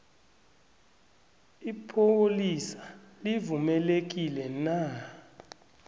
ipholisa livumelekile na